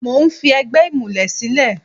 Mo ń fi ẹgbẹ́ ìmùlẹ̀ sílẹ̀.